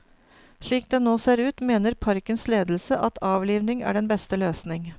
Slik det nå ser ut, mener parkens ledelse at avlivning er den beste løsning.